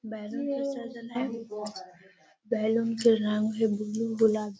balloon से सजल हईं | बैलून के रंग भी बुलु गुलाब |